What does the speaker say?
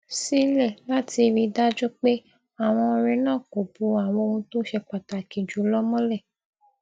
sílè láti rí i dájú pé àwọn ọrẹ náà kò bo àwọn ohun tó ṣe pàtàkì jù lọ mọlẹ